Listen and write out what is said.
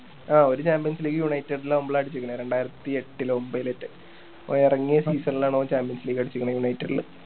ഒരു champions league united ലാവുമ്പോള അടിച്ചിക്കണേ രണ്ടായിരത്തി എട്ടിലോ ഒമ്പതിലോറ്റോ ഓൻ എറങ്ങിയ season ലാണ് ഓൻ champions league അടിച്ചേക്കണേ united ല്